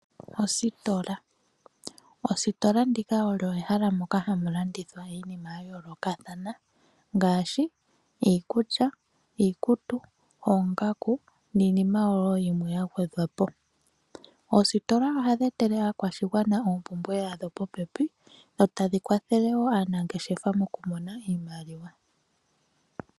Ositola, ositola ndika olyo ehala moka hamu landithwa iinima ya yoolkathana ngaashi iikulya, iikutu, oongaku niinima wo yimwe ya gwedhwapo. Oositola ohadhi etele aakwashigwana oompumbwe dhawo popepi e tadhi kwathele wo aanangeshefa moku mona iimaliwa.